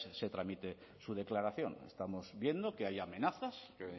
se tramite su declaración estamos viendo que hay amenazas que